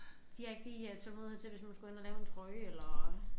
De har ikke lige øh tålmodighed til hvis nu man skulle hen og lave en trøje eller